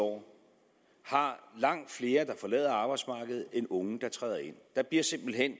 år har langt flere forlader arbejdsmarkedet end er unge der træder ind der bliver simpelt hen